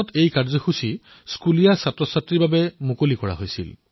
২০১৯ত এই কাৰ্যসূচী বিদ্যালয়ৰ শিক্ষাৰ্থীসকলৰ বাবে মুকলি কৰা হৈছিল